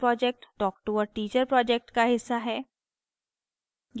spoken tutorial project talktoa teacher project का हिस्सा है